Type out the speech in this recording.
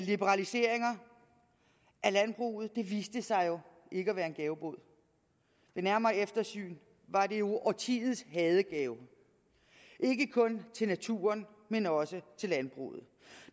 liberaliseringer af landbruget viste sig jo ikke at være en gavebod ved nærmere eftersyn var det årtiets hadegave ikke kun til naturen men også til landbruget